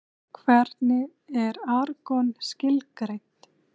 Hvernig er argon skilgreint?